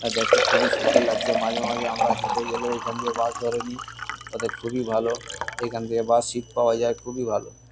আ দেখতে খুবই সুন্দর লাগছে। মাঝে মাঝে আমরা হেঁটে গেলেও এখান দিয়ে বাস ধরে নি। অতএব খুবই ভালো। এখান দিয়ে বাস সিট্ পাওয়া যায়। খুবই ভালো।